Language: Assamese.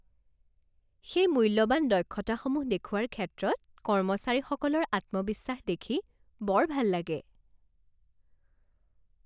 সেই মূল্যৱান দক্ষতাসমূহ দেখুওৱাৰ ক্ষেত্ৰত কৰ্মচাৰীসকলৰ আত্মবিশ্বাস দেখি বৰ ভাল লাগে।